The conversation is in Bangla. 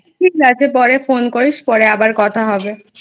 ঠিক আছে পরে Phone করিস পরে আবার কথা হবে।